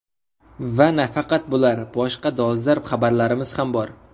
Va nafaqat bular, boshqa dolzarb xabarlarimiz ham bor.